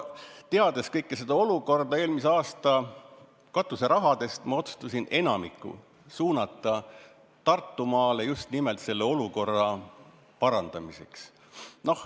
Teades kogu seda olukorda, ma otsustasin enamiku eelmise aasta nn katuserahadest suunata Tartumaale just nimelt selle olukorra parandamiseks.